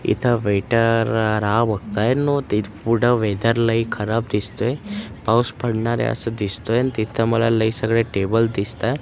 इथं वेटर राह बघतोय आणि पुढे वेदर लई खराब दिसतोयं पाऊस पडणार आहे असं दिसतोयं आणि तिथं मला लई सगळे टेबल दिसतात.